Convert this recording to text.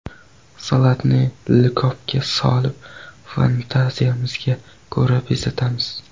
Salatni likopga solib, fantaziyamizga ko‘ra bezatamiz.